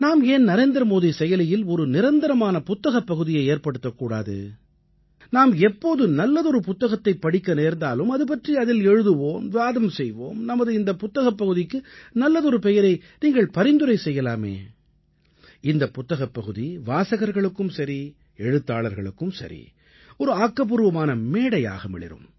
நாம் ஏன் நரேந்திரமோடி செயலியில் ஒரு நிரந்தரமான புத்தகப் பகுதியை ஏற்படுத்தக் கூடாது நாம் எப்போது நல்லதொரு புத்தகத்தைப் படிக்க நேர்ந்தாலும் அது பற்றி அதில் எழுதுவோம் வாதம் செய்வோம் நமது இந்தப் புத்தகப் பகுதிக்கு நல்லதொரு பெயரை நீங்கள் பரிந்துரை செய்யலாமே இந்தப் புத்தகப் பகுதி வாசகர்களுக்கும் சரி எழுத்தாளர்களுக்கும் சரி ஒரு ஆக்கப்பூர்வமான மேடையாக மிளிரும்